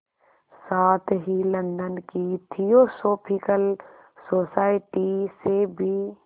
साथ ही लंदन की थियोसॉफिकल सोसाइटी से भी